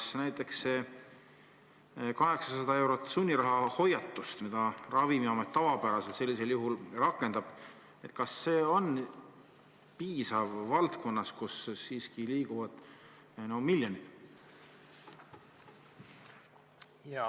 Kas näiteks see 800-eurose sunniraha hoiatus, mida Ravimiamet tavapäraselt sellisel juhul rakendab, on piisav valdkonnas, kus siiski liiguvad miljonid?